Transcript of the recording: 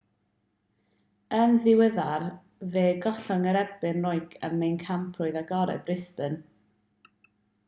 yn ddiweddar fe gollodd yn erbyn raonic ym mhencampwriaeth agored brisbane